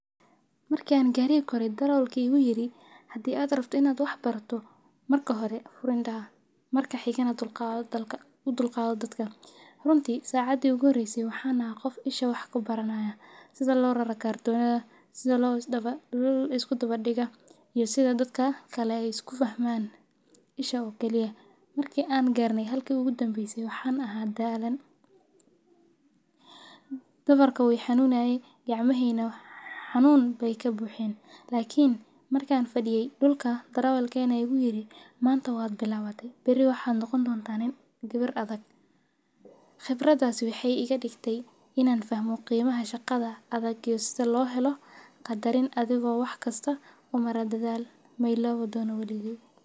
Markan gariga koray darawalki igu yidhi hadii aad rabto inaad waxbarato marka hore fur indhaha marka xigana dulqado dadka u dulqado dadka runti sacadi igu horeyse waxaan ahan qof isha wax ku baranaya sida lorara kartonyada sida la isku dabadiga iyo sida dadka kale isku fahman bisha o kaliya marki aan garne halki ogu dambeyse waxaan aha daalan. Dhabarka wu i xanunaye gacmahey ne xanun bay ka buxeen lakin markan fadhiye dhulka darawalkena aya igu yidhi manta waa bilawate bari waxaad noqon doonta gabar adag khibradas waxay iga digtay inaan fahmo qiimaha shaqada adag iyo sida lohelo qadarin adigo waxkasta u mara dadaal ma ilaawi doona waligay.